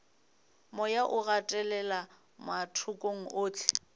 moya o gatelela mathokong ohle